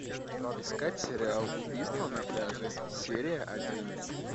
искать сериал убийство на пляже серия один